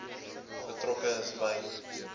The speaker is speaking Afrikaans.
betrokke is by